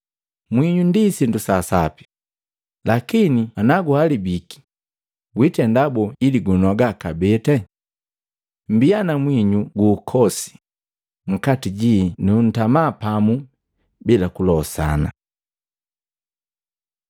“Mwinyu sindu saasapi, lakini naguhalabiki wiitenda boo ili gunogaa kabee? “Mmbia na mwinyu gu ukosi nkati jii nu ntama pamu bila kulosana.”